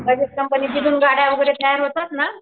Bajaj company जिथून गाड्या वैगरे तयार होतात ना